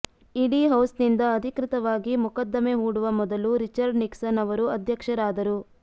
ಇಡೀ ಹೌಸ್ನಿಂದ ಅಧಿಕೃತವಾಗಿ ಮೊಕದ್ದಮೆ ಹೂಡುವ ಮೊದಲು ರಿಚರ್ಡ್ ನಿಕ್ಸನ್ ಅವರು ಅಧ್ಯಕ್ಷರಾದರು